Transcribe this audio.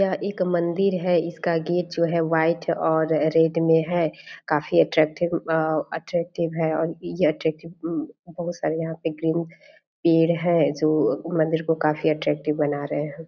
यह एक मंदिर है । इसका गेट जो है वाइट और रेड मे है काफी अट्रैक्टिव अ-अट्रैक्टिव है और यह अट्रैक्टिव बहुत सारे यहाँ पे ग्रीन पेड़ है जो मंदिर को काफी अट्रैक्टिव बना रहे हैं ।